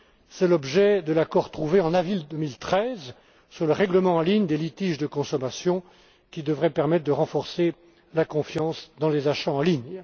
C'est l'objet de l'accord trouvé en avril 2013 sur le règlement en ligne des litiges de consommation, qui devrait permettre de renforcer la confiance dans les achats en ligne.